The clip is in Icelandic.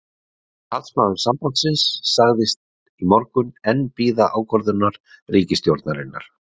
Talsmaður sambandsins sagðist í morgun enn bíða ákvörðunar ríkisstjórnarinnar.